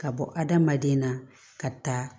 Ka bɔ adamaden na ka taa